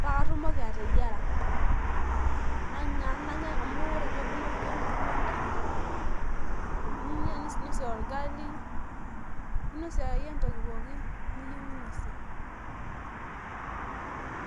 paakatumoki ateyiera ninya ninosie orgali ashu entoki akeyie niyieu ninosie.